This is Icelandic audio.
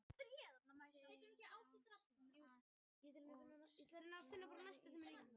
Fylkis liðið náði hinsvegar aldrei þeim dampi sem það hefur oft náð í sumar.